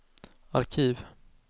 arkiv